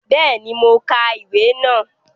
Béèni, mo ka ìwé náà